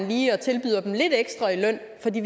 lige og tilbyder dem lidt ekstra i løn fra de